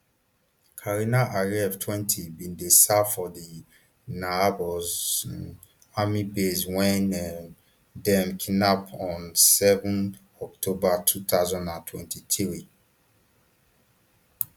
karina ariev twenty bin dey serve for di nahal oz um army base wen um dem kidnap on seven october two thousand and twenty-three